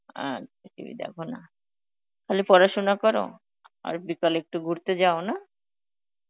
আচ্ছা TV দেখনা তাহলে পড়াশোনা কর? আর বিকালে একটু ঘুরতে যাও, না?